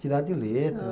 Tirar de letra.